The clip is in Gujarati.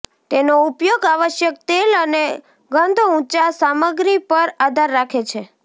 તેનો ઉપયોગ આવશ્યક તેલ અને ગંધ ઊંચા સામગ્રી પર આધાર રાખે છે